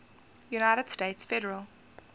united states federal